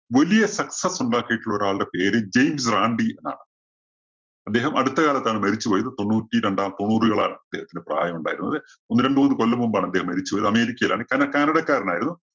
വലിയ success ഉണ്ടാക്കിയിട്ടുള്ള ഒരാളുടെ പേര് ജെയിംസ് റാന്‍ഡി എന്നാണ്. അദ്ദേഹം അടുത്ത കാലത്താണ് മരിച്ചു പോയത്. തൊണ്ണൂറ്റി രണ്ടാം തൊണ്ണൂറുകളാണ് അദ്ദേഹത്തിന് പ്രായമുണ്ടായിരുന്നത്. ഒന്ന് രണ്ടു മൂന്ന് കൊല്ലം മുമ്പാണ് അദ്ദേഹം മരിച്ചുപോയത്. അമേരിക്കയിലാണ്. കാ~ canada ക്കാരനായിരുന്നു.